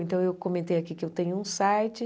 Então, eu comentei aqui que eu tenho um site.